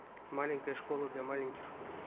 маленькая школа для маленьких